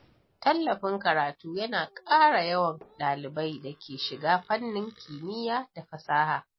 Tallafin karatu yana ƙara yawan dalibai da ke shiga fannin kimiyya da fasaha.